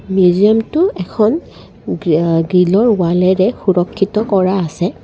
মিউজিয়ামটো এখন গি আ গ্ৰিলৰ ৱালেৰে সুৰক্ষিত কৰা আছে।